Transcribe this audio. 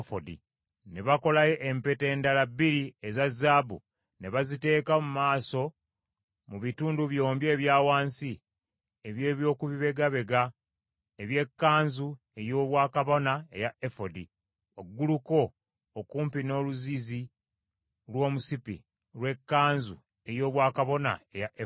Ne bakolayo empeta endala bbiri eza zaabu ne baziteeka mu maaso mu bitundu byombi ebya wansi eby’eby’okubibegabega eby’ekkanzu ey’obwakabona eya efodi, wagguluko okumpi n’oluzizi lw’omusipi lw’ekkanzu ey’obwakabona eya efodi.